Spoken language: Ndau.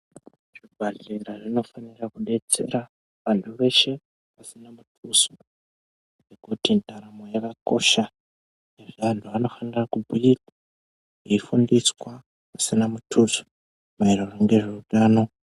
Zvibhahlera zvinofanira kudetsera vantu veshe vasina muduso ngekuti ndaramo yakakosha, izvi antu anofanira kubhurwa eifundiswa zvisina mutuso maererano ngezveutano.